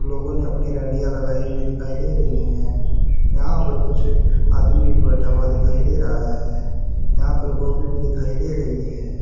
लोगों ने अपनी गाड़ियां लगाई हुई दिखाई दे रहीं है यहां पर कुछ आदमी भी बैठा हुआ दिखाई दे रहा है यहां पर गोभी भी दिखाई दे रही है।